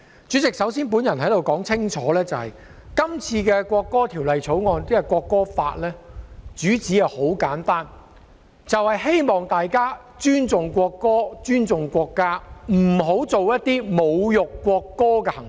主席，我首先想說清楚，《條例草案》的主旨很簡單，就是希望大家尊重國歌、尊重國家，不要做出一些侮辱國歌的行為。